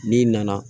N'i nana